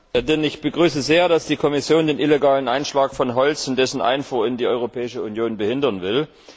Frau Präsidentin! Ich begrüße sehr, dass die Kommission den illegalen Einschlag von Holz und dessen Einfuhr in die Europäische Union behindern will.